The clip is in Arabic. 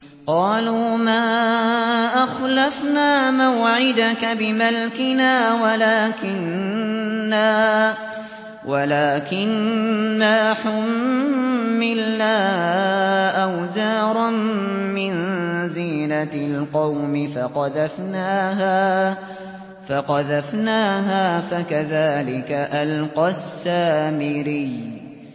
قَالُوا مَا أَخْلَفْنَا مَوْعِدَكَ بِمَلْكِنَا وَلَٰكِنَّا حُمِّلْنَا أَوْزَارًا مِّن زِينَةِ الْقَوْمِ فَقَذَفْنَاهَا فَكَذَٰلِكَ أَلْقَى السَّامِرِيُّ